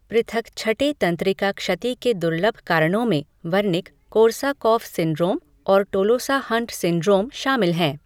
पृथक छठे तंत्रिका क्षति के दुर्लभ कारणों में वर्निक कोर्साकॉफ सिंड्रोम और टोलोसा हंट सिंड्रोम शामिल हैं।